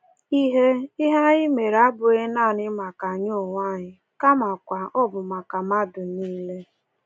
Ihe Ihe anyị mere abụghị nanị maka anyị onwe anyị, kamakwa ọ bụ maka mmadụ nile.”